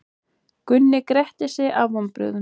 Gunni gretti sig af vonbrigðum.